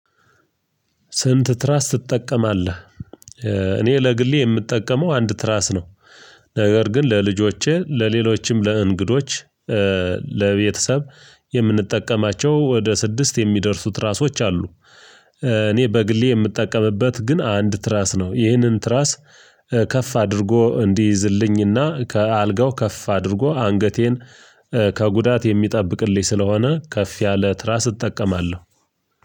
ስንት ትራስ ትጠቀማለ? እኔ ለግሌ የምጠቀመው አንድ ትራስ ነው ነገር ግን ለልጆቼ ለሌሎችም ለእንግዶች ለቤተሰብ የምንጠቀማቸው ወደ ስድስት የሚደርሱት ትራሶች አሉ፤ እኔ በግሌ የምጠቀምበት ግን አንድ ትራስ ነው ይህንን ትራስ ከፍ አድርጎ እንዲይዝልኝና ከአልጋው ከፍ አድርጎ አንገቴን ከጉዳት የሚጠብቅልኝ ስለሆነ ከፍ ያለ ትራስ እጠቀማለሁ።